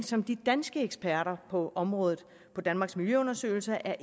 som de danske eksperter på området på danmarks miljøundersøgelser